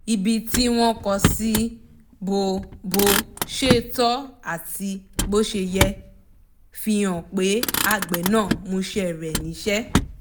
ibi tí wọ́n kọ́ sí bó bó ṣe tọ́ àti bó ṣe yẹ fi hàn pé àgbẹ̀ náà mọṣẹ́ rẹ̀ níṣẹ́